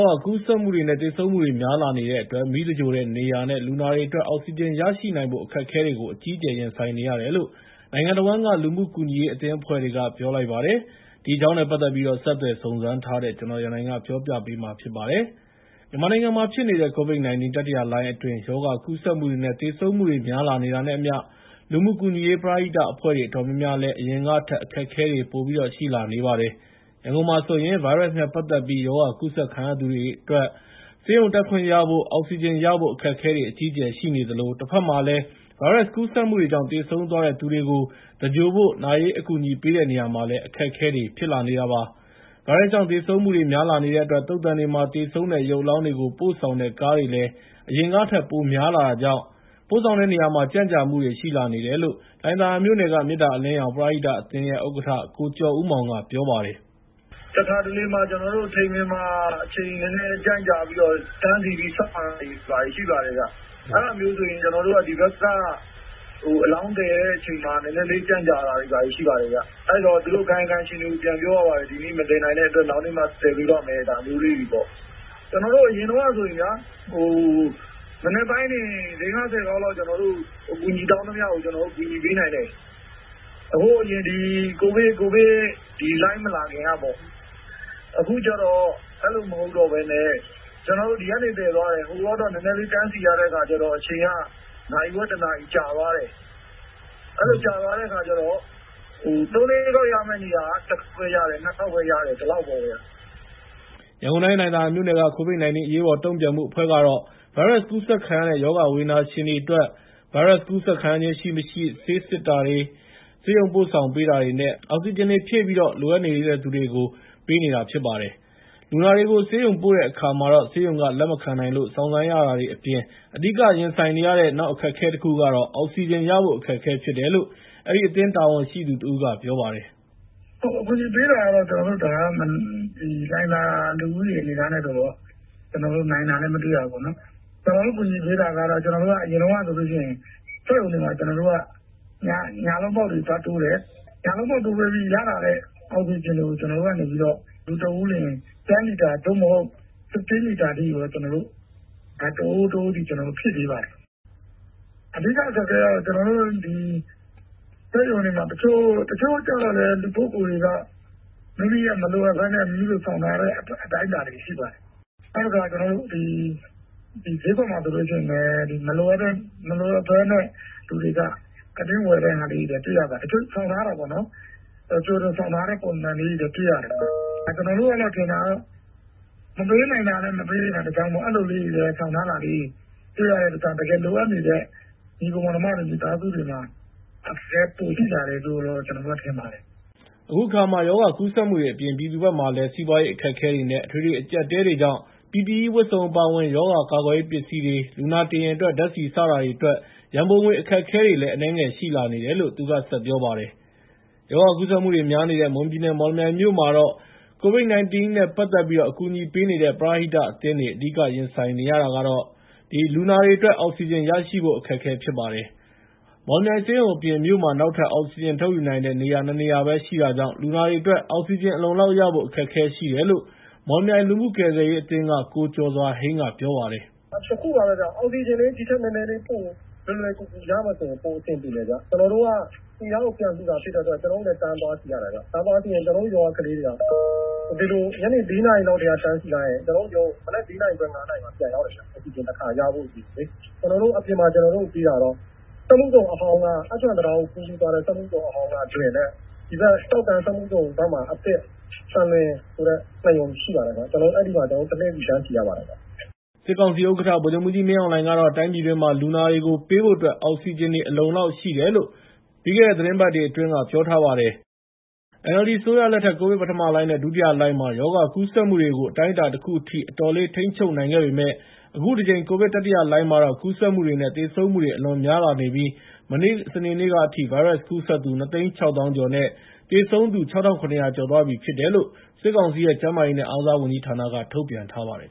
ာဂါကူးစက်မှုတွေနဲ့ သေဆုံးမှုတွေများလာနေတဲ့အတွက် နာရေးမီးသင်္ဂြိုဟ်တဲ့နေရာနဲ့ လူနာတွေအတွက် အောက်ဆီဂျင်ရရှိနိုင်ဖို့ အခက်အခဲတွေကို အကြီးအကျယ်ရင်ဆိုင်နေရတယ်လို့ နိုင်ငံတဝန်းက လူမှုကူညီရေးအသင်းအဖွဲ့တွေက ပြောပါတယ်။ ဒီအကြောင်း ဆက်သွယ်စုံစမ်းထားတဲ့ ကိုရန်နိုင်က တင်ပြပေးထားပါတယ်။ မြန်မာနိုင်ငံမှာဖြစ်နေတဲ့ ကိုဗစ် ၁၉တတိယလှိုင်းအတွင်း ရောဂါကူးစက်မှုတွေနဲ့ သေဆုံးမှုတွေများလာနေတာနဲ့အမျှ လူမှုကူညီရေး ပရဟိတအဖွဲ့တွေ အတော်များများလည်း အရင်ကထက် အခက်အခဲတွေရှိလာနေပါတယ်။ ရန်ကုန်မှာဆိုရင် ဗိုင်းရပ်စ်နဲ့ ပတ်သက်ပြီး ရောဂါကူးစက်ခံရသူတွေအတွက် ဆေးရုံတက်ခွင့်ရဖို့၊ အောက်ဆီဂျင်ရဖို့ အခက်အခဲတွေ အကြီးအကျယ်ရှိနေသလို တဘက်မှာလည်း ဗိုင်းရပ်စ်ကူးစက်မှုတွေကြောင့် သေဆုံးသွားတဲ့သူတွေကို သဂြိုဟ်ဖို့ နာရေးအကူအညီပေးတဲ့နေရာမှာလည်း အခက်အခဲတွေ ဖြစ်လာနေတာပါ။ ဗိုင်းရပ်စ်ကြောင့် သေဆုံးမှုတွေက များလာနေတဲ့အတွက် သုဿန်တွေမှာလည်း သေဆုံးတဲ့ရုပ်အလောင်းတွေကို ပို့ဆောင်တဲ့ကားတွေ အရင်ကထက် ပိုများလာတာကြောင့် ပို့ဆောင်တဲ့နေရာမှာ ကြန့်ကြာမှုတွေရှိလာနေတယ်လို့ လှိုင်သာယာမြို့နယ်က မေတ္တာအလင်းရောင် ပရဟိတအသင်းရဲ့ ဥက္ကဋ္ဌ ကိုကျော်ဦးမောင်က ပြောပါတယ်။ “တခါတလေ ထိန်ပင် (သုဿန်) မှာ အချိန်နည်းနည်း ကြန့်ကြာပြီး တန်းစီပြီး စောင့်ရတာတွေရှိပါတယ်။ အဲဒါမျိုးဆိုရင် ကျနော်တို့ ဒီဘက်က အလောင်းသယ်တဲ့နေရာမှာ နည်းနည်းလေးကြန့်ကြတာတွေရှိပါတယ်ဗျ။ အဲဒီတော့ ကာယကံရှင်တွေကို ပြန်ပြောရပါတယ်။ ဒီနေ့ မသယ်နိုင်တဲ့အတွက် နောက်နေ့မှာ သယ်ပေးပါ့မယ်ဆိုပြီး ဒါမျိုးလေးတွေပေါ့။ အရင်တုန်းကဆိုရင် မနက်ပိုင်းတင် ၄၊ ၅၊ ၁၀ ခေါက်လောက် အကူအညီတောင်းသမျှကို အကူအညီပေးနိုင်တယ်။ အခုဒီကိုဗစ်လှိုင်းမလာခင်ကပေါ့။ အခုကျတော့ အဲဒီလိုမဟုတ်ဘဲနဲ့ ဒီကနေသယ်သွားတယ်။ ဟိုရောက်တော့ နည်းနည်းလေးတန်းစီရတဲ့အခါကျတော့ အချိန်က နာရီဝက်၊ တနာရီ ကြာသွားတယ်။ အဲဒီလိုကြာသွားတဲ့အခါကျတော့ ၃-၄ ခေါက်ရမယ့် နေရာက ၁ ခေါက်ပဲ ရတယ်။ ၂ ခေါက်ပဲရတယ်။ ဒီလောက်ပါခင်ဗျ။” ရန်ကုန်တိုင်း လှိုင်သာယာမြို့နယ်က ကိုဗစ်-၁၉အရေးပေါ်တုံံ့ပြန်မှုအဖွဲ့ကတော့ ဗိုင်းရပ်စ်ကူးစက်ခံရတဲ့ ရောဂါဝေဒနာရှင်တွေအတွက် ဗိုင်းရပ်စ်ကူးစက်ခံရခြင်းရှိ မရှိ စစ်ဆေးတာ၊ ဆေးရုံပို့ဆောင်ပေးတာ၊ အောက်ဆီဂျင်တွေ ဖြည့်ပြီး လိုအပ်နေတဲ့သူတွေကို ပေးနေတာဖြစ်ပါတယ်။ လူနာတွေကို ဆေးရုံပို့တဲ့အခါမှာ ဆေးရုံက လက်မခံနိုင်လို့ စောင့်ဆိုင်းရတာတွေအပြင် အဓိကရင်ဆိုင်နေရတဲ့ အခက်အခဲကတော့ အောက်ဆီဂျင်ရဖို့အခက်အခဲဖြစ်တယ်လို့ အဲဒီအသင်းတာဝန်ရှိသူတဦးကပြောပါတယ်။ “အကူအညီပေးတာကတော့ ကျနော်တို့ လှိုင်သယာလူဦးရေအနေအထားနဲ့ဆိုရင် နိုင်တာလည်း မတွေ့ရဘူး။ ကျနော်တို့ ကူညီပေးတာက အရင်တုန်းကဆိုလိုရှိရင် စက်ရုံတွေမှာ ညလုံးပေါက်တွေ သွားတိုးတယ်။ ညလုံးပေါက်တိုးပေးပြီး ရလာတဲ့ အောက်ဆီဂျင်တွေကို ကျနော်တို့ကနေ လူတဦးလျှင် ၁၀ လီတာ သို့မဟုတ် ၁၅ လီတာအထိ တအိုး၊ တအိုးဆီ ကျနော်တို့ ဖြည့်ပေးပါတယ်။ အဓိကအခက်အခဲကတော့ စက်ရုံတွေမှာ တချို့လူပုဂ္ဂိုလ်တွေက မိမိရဲ့မလိုအပ်ဘဲနဲ့ ဆောင်ထားတဲ့ အတိုင်းအတာတွေရှိပါတယ်။ နောက်တခါ ဈေးကွက်မှာဆိုလို့ရှိရင်လည်း မလိုအပ်ဘဲ လူတွေက အတင်းဝယ်တဲ့ဟာလေးတွေလည်း တွေ့ရပါတယ်။ တချို့ဆောင်ထားတာပေါ့နော်။ ကြိုတင်ဆောင်ထားတဲ့ ပုံစံလေးတွေလည်း တွေ့ရတယ်။ ကျနော်တို့ထင်ထားတာကတော့ မပေးနိုင်တာလည်း မပေးနိုင်တာတကြောင်း၊ အဲဒီလိုလေးတွေလည်း ဆောင်ထားတာလေးတွေ တွေ့ရတဲ့အတွက် လိုအပ်နေတဲ့ ညီအစ်ကို မောင်နှမတွေ၊ မိသားစုတွေမှာ အခက်အခဲပိုရှိလာတယ်လို့ ကျနော်တို့ထင်ပါတယ်။” အခုအခါမှာ ရောဂါကူးစက်မှုတွေအပြင် ပြည်သူတွေဘက်မှာလည်း စီးပွားရေးအခက်အခဲတွေနဲ့ အထွေထွေအကြပ်အတည်းတွေကြောင့် PPE ဝတ်စုံအပါအဝင် ရောဂါကာကွယ်ရေးပစ္စည်းတွေ၊ လူနာတင်ယာဉ်အတွက် ဓါတ်ဆီ စတာတွေအတွက် ရံပုံငွေ အခက်အခဲတွေလည်း အနည်းငယ်ရှိလာနေတယ်လို့ သူကဆက်ပြောပါတယ်။ ရောဂါကူးစက်မှုတွေများနေတဲ့ မွန်ပြည်နယ် မော်လမြိုင်မြို့မှာလည်း ကိုဗစ် ၁၉နဲ့ ပတ်သက်ပြီး အကူအညီပေးနေတဲ့ ပရဟိတအသင်းတွေ အဓိကရင်ဆိုင်နေရတာကတော့ ရောဂါကူးစက်ခံနေရတဲ့ လူနာတွေအတွက် အောက်ဆီဂျင်ရရှိဖို့ အခက်အခဲဖြစ်နေတာပါ။ မော်လမြိုင်ဆေးရုံအပြင် မြို့မှာ နောက်ထပ် အောက်ဆီဂျင်ထုတ်ယူနိုင်တဲ့ နေရာ ၂ နေရာပဲရှိတာကြောင့် လူနာတွေအတွက် အောက်ဆီဂျင်အလုံအလောက်ရဖို့ အခက်အခဲရှိတယ်လို့ မော်လမြိုင်လူမှုကယ်ဆယ်ရေးအသင်းက ကိုကျော်စွာဟိန်းက ပြောပါတယ်။ “အခုဟာက- အောက်ဆီဂျင်လေး ဒီထက်နည်းနည်းပို လွယ်လွယ်ကူကူရလို့ရှိလျှင် ပိုအဆင်ပြေတယ်ဗျ။ သူများကို ဖြန့်ဖြူးတာဖြစ်တဲ့အတွက် ကျနော်တို့လည်း တန်းသွားစီရတာ။ များသောအားဖြင့် ကျနော်တို့ရွာကကလေးတွေက ညနေ ၄ နာရီလောက်က တန်းစီလိုက်ရင် မနက် ၄ နာရီခွဲ ၅ နာရီလောက်မှ ပြန်ရောက်တယ်ဗျ။ အောက်ဆီဂျင်တခါရဖို့အတွက်ပေါ့။ ကျနော်တို့ကို အပြင်မှာပေးတာက အတ္တရံ တံတားကိုကူးပြီးသွားတဲ့ စက်မှုဇုန်အဟောင်းမှာ ဖြည့်တဲ့စက်ရုံနဲ့ ဒီဘက်စက်မှုဇုန်ဘက်မှာ အသစ် သံလွင်ဆိုတဲ့ ၂ ရုံရှိပါတယ်ခင်ဗျာ။ ကျနော်တို့အဲဒီမှာ တလှည့်စီတန်းစီရပါတယ်ဗျ။” စစ်ကောင်စီ ဥက္ကဋ္ဌ ဗိုလ်ချုပ်မှူးကြီး မင်းအောင်လှိုင်ကတော့ တိုင်းပြည်တွင်းမှာ လူနာတွေကိုပေးဖို့အတွက် အောက်ဆီဂျင်တွေ အလုံအလောက်ရှိတယ်လို့ ပြီးခဲ့တဲ့ သီတင်းပတ်တွေအတွင်း ပြောထားပါတယ်။ NLD အစိုးရလက်ထက် ကိုဗစ် ပထမလှိုင်းနဲ့ ဒုတိယလှိုင်းမှာ ရောဂါကူးစက်မှုတွေကို အတိုင်းအတာတခုအထိ အတော်လေး ထိန်းချုပ်နိုင်ခဲ့ပေမယ့် အခုတကြိမ် ကိုဗစ် တတိယလှိုင်းမှာတော့ ကူးစက်မှုတွေနဲ့ သေဆုံးမှုတွေအလွန်များလာနေပြီး မနေ့စနေနေ့ကအထိ ဗိုင်းရပ်စ်ကူးစက်သူ ၂ သိန်း ၆ သောင်းကျော်နဲ့ သေဆုံးသူ ၆,၇၀၀ ကျော်ရှိသွားပြီဖြစ်တယ်လို့ စစ်ကောင်စီရဲ့ကျန်းမာရေးနဲ့ အားကစားဝန်ကြီးဌာနက ထုတ်ပြန်ထားပါတယ်